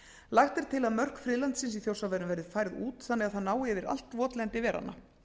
lagt er til að mörk friðlandsins í þjórsárverum verði færð út þannig að það nái yfir allt votlendi veranna